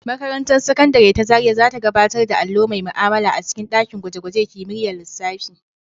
Makarantar Sakandare ta Zariya za ta gabatar da allo mai ma'amala a cikin ɗakin gwaje-gwajen kimiyyar lissafi.